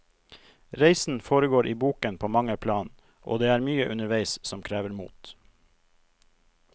Reisen foregår i boken på mange plan, og det er mye underveis som krever mot.